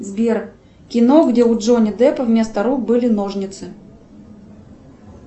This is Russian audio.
сбер кино где у джонни деппа вместо рук были ножницы